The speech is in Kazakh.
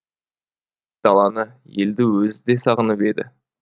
даланы елді өзі де сағынып еді